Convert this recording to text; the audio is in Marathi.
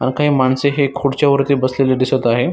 अन काही माणसे हे खुडच्या वरती बसलेले दिसत आहे.